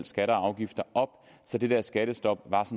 skatter og afgifter op så det der skattestop var